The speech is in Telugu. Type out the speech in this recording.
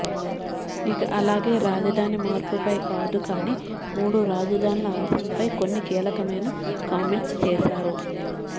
ఇక అలాగే రాజధాని మార్పుపై కాదు కానీ మూడు రాజధానులు అంశంపై కొన్ని కీలకమైన కామెంట్స్ చేసారు